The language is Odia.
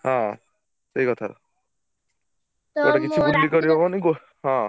ହଁ ସେଇକଥା ହଁ।